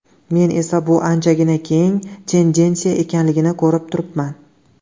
Men esa bu anchagina keng tendensiya ekanligini ko‘rib turibman.